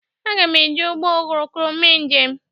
Agam ejị ụgbọ oroko mee njem.